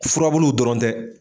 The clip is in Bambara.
Furabuluw dɔrɔn tɛ